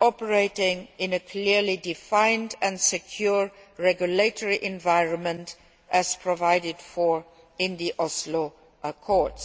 operating in a clearly defined and secure regulatory environment, as provided for in the Oslo Accords.